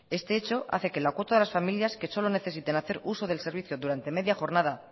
este hecho hace que la cuota de las familias que solo necesiten hacer uso del servicio durante media jornada